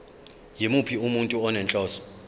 yimuphi umuntu onenhloso